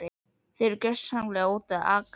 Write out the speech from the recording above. Þið eruð gjörsamlega úti að aka.